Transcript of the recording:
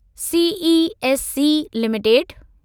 CESC limited